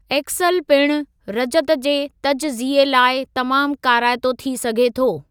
XL पिणु रजत जे तजज़िये लाइ तमामु काराइतो थी सघे थो।